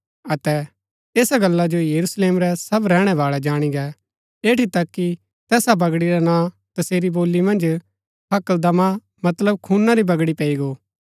ऐसा गल्ला जो यरूशलेम रै सब रैहणै बाळै जाणी गै ऐठी तक कि तैसा बगड़ी रा नां तसेरी बोली मन्ज हकलदमा मतलब खूना री बगड़ी पैई गो